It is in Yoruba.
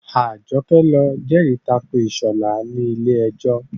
Àjọkẹ́ lọ jẹ́rì tako Ìṣọ̀lá ní ilé ẹjọ́